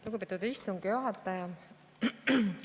Lugupeetud istungi juhataja!